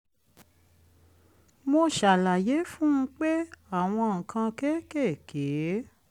mo ṣàlàyé fún un pé àwọn nǹkan kéékèèké